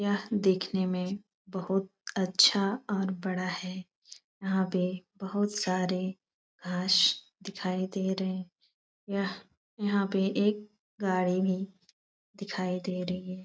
यह देखने में बहुत अच्छा और बड़ा है यहाँ पे बहुत सारे घास दिखाई दे रहे यह यहाँ पे एक गाड़ी भी दिखाई दे रही है।